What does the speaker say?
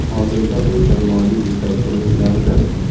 Hozirda u jamoaning yetakchi o‘yinchilaridan.